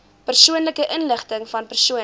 persoonlike inligtingvan persone